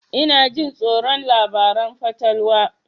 Ina jin tsoron labaran fatalwa